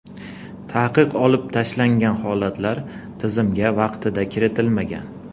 Taqiq olib tashlangan holatlar tizimga vaqtida kiritilmagan.